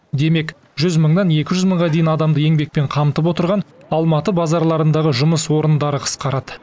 демек жүз мыңнан екі жүз мыңға дейін адамды еңбекпен қамтып отырған алматы базарларындағы жұмыс орындары қысқарады